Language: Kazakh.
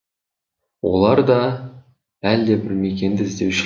олар да әлдебір мекенді іздеуші